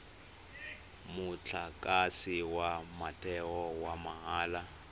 motlakase wa motheo wa mahala